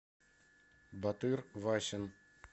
батыр васин